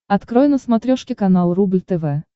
открой на смотрешке канал рубль тв